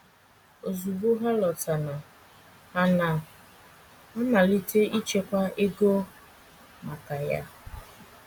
“ Ozugbo ha lọtana, ha na - amalite ichekwa ego maka ya. ”